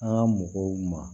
An ka mɔgɔw ma